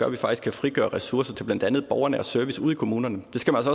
at vi faktisk kan frigøre ressourcer til blandt andet borgernær service ude i kommunerne det skal man